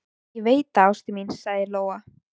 Ég veit það, ástin mín, sagði Lóa.